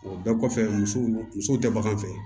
O bɛɛ kɔfɛ musow musow tɛ bagan fɛ